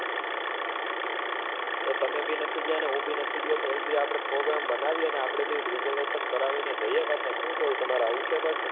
તો તમે બી નથી ગયા ને હું બી નથી ગયો તો એક દી આપડે prograam બનાવીએ અને આપડે બેવ recervation કરી ને જઈએ પાછા શું કેવું તમારે આવું છે પાછુ?